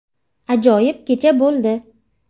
Ajoyib kecha bo‘ldi.